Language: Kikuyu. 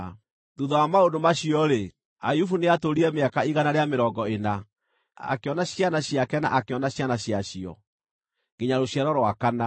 Thuutha wa maũndũ macio-rĩ, Ayubu nĩatũũrire mĩaka igana rĩa mĩrongo ĩna; akĩona ciana ciake na akĩona ciana ciacio, nginya rũciaro rwa kana.